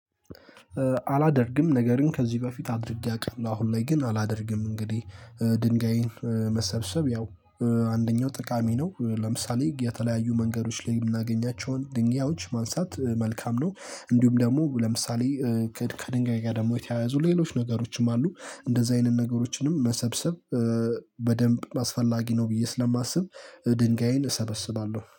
አላደርግም ነገር ግን ከዚህ በፊት አድርጌ አውቃለሁ አሁን ላይ ግን አላደርግም እንግዲህ ድንጋይን መሰብሰብ ያው አንደኛው ጠቃሚ ነው። ለምሳሌ የተለያዩ መንገዶች ላይ የምናገኛቸውን ድንጋዮች ማንሳት መልካም ነው። እንዲሁም ደግሞ ለምሳሌ ከድንጋይ ጋ ደግሞ የተያያዙ ሌሎች ነገሮችም አሉ። እንደዛ አይነት ነገሮችንም መሰብሰብ በደንብ አስፈላጊ ነው ብዬ ስለማስብ ድንጋይን እሰበስባለሁ